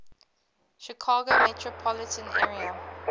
chicago metropolitan area